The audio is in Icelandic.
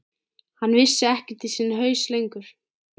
Hann vissi ekkert í sinn haus lengur.